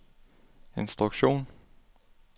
instruktion